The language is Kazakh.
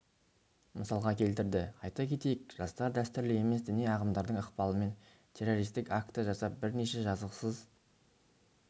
мысалға келтірді айта кетейік жастар дәстүрлі емес діни ағымдардың ықпалымен террористік акті жасап бірнеше жазықсыз